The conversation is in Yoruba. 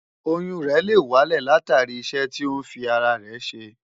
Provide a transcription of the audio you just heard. Oyún rẹ̀ lè wálẹ̀ látàrí iṣẹ́ tó ń fi ara rẹ̀ ṣe.